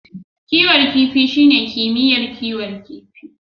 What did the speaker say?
Kiwon kifi shine kimiyyar kiwon kifi.